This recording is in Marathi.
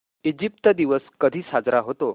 इजिप्त दिवस कधी साजरा होतो